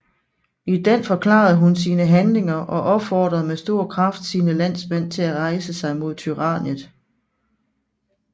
I den forklarede hun sine handlinger og opfordrede med stor kraft sine landsmænd til at rejse sig mod tyranniet